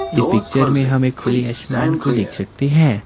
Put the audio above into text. इस पिक्चर में हम एक खुले आसमान को देख सकते हैं।